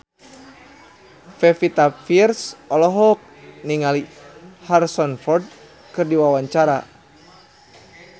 Pevita Pearce olohok ningali Harrison Ford keur diwawancara